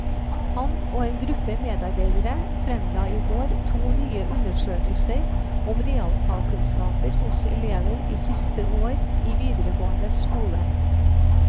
Han og en gruppe medarbeidere fremla i går to nye undersøkelser om realfagkunnskaper hos elever i siste år i videregående skole.